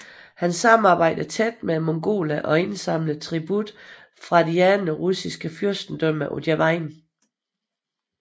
Han samarbejdede tæt med mongolerne og indsamlede tribut fra de andre russiske fyrstendømmer på deres vegne